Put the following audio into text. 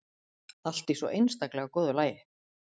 Allt í svo einstaklega góðu lagi.